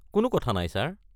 কোনো কথা নাই, ছাৰ।